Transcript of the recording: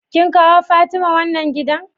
kin kawo Fatima wannan giɗa?